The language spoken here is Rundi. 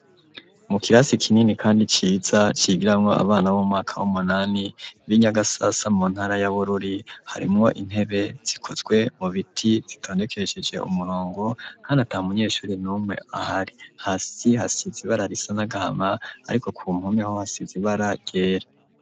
Mu kirasi kinini kandi ciza cigirawo abana b'umwaka w'umunani b'inyagasasa mu ntara yabururi harimwo intebe zikozwe mu biti zitondekesheje umurongo nta munyeshure n'umwe ahari hasi hasizi ibara risa nagahama ariko ku mpome hasizibara ryera.